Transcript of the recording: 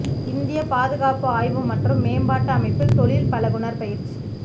இந்திய பாதுகாப்பு ஆய்வு மற்றும் மேம்பாட்டு அமைப்பில் தொழில் பழகுநர் பயிற்சி